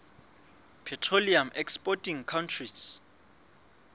petroleum exporting countries